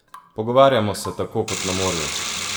Pogovarjamo se tako kot na morju!